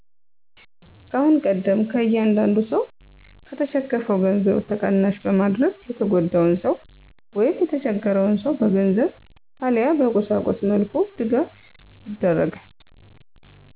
ከአሁን ቀደም ከእያንዳዱ ሰው ከተሸከፋው ገንዘብ ተቀናሽ በማድረግ የተጎዳን ሰው ወይም የተቸገርን ሰው በገንዘብ አለያ በቁሳቁስ መልኩ ድጋፍ ይደርጋል።